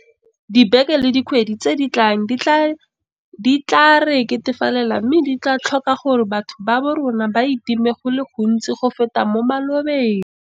Dibeke le dikgwedi tse di tlang di tla re ketefalela mme di tla tlhoka gore batho ba borona ba itime go le gontsi go feta mo malobeng.